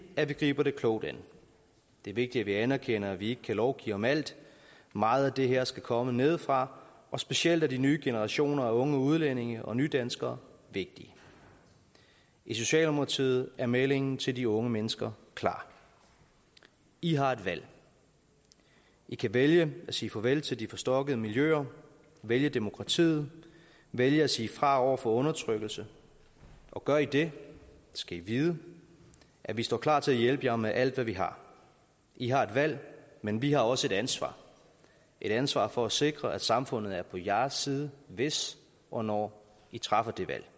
at vi griber det klogt an det er vigtigt at vi anerkender at vi ikke kan lovgive om alt meget af det her skal komme nedefra og specielt er de nye generationer af unge udlændinge og nydanskere vigtige i socialdemokratiet er meldingen til de unge mennesker klar i har et valg i kan vælge at sige farvel til de forstokkede miljøer vælge demokratiet vælge at sige fra over for undertrykkelse gør i det skal i vide at vi står klar til hjælpe jer med alt hvad vi har i har et valg men vi har også et ansvar et ansvar for at sikre at samfundet er på jeres side hvis og når i træffer det valg